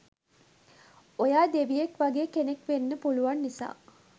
ඔයා දෙවියෙක් වගේ කෙනෙක් වෙන්න පුළුවන් නිසා.